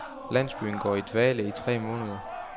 Landsbyen går i dvale i tre måneder.